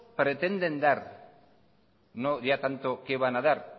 pretenden dar no ya tanto qué van a dar